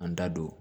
An da don